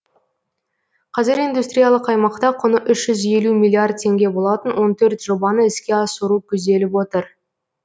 қазір индустриялық аймақта құны үз жүз елу миллиард теңге болатын он төрт жобаны іске асыру көзделіп отыр